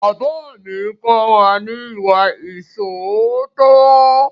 Bàbá mi kọ́ wa ní ìwà ìṣóòótọ́.